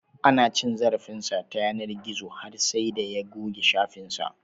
An ci zarafin sa ta yanar gizo har sai da ya goge shafin sa